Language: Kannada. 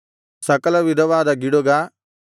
ಸಕಲವಿಧವಾದ ಗಿಡುಗ